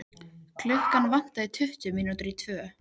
Klukkuna vantaði tuttugu mínútur í tvö.